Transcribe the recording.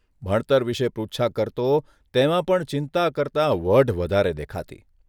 ભણતર વિશે પૃચ્છા કરતો તેમાં પણ ચિંતા કરતા વઢ વધારે દેખાતી.